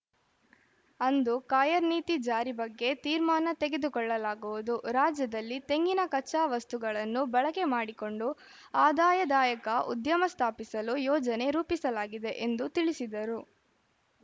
ಅಂದು ಕಾಯರ್‌ ನೀತಿ ಜಾರಿ ಬಗ್ಗೆ ತೀರ್ಮಾನ ತೆಗೆದುಕೊಳ್ಳಲಾಗುವುದು ರಾಜ್ಯದಲ್ಲಿ ತೆಂಗಿನ ಕಚ್ಚಾ ವಸ್ತುಗಳನ್ನು ಬಳಕೆ ಮಾಡಿಕೊಂಡು ಆದಾಯದಾಯಕ ಉದ್ಯಮ ಸ್ಥಾಪಿಸಲು ಯೋಜನೆ ರೂಪಿಸಲಾಗಿದೆ ಎಂದು ತಿಳಿಸಿದರು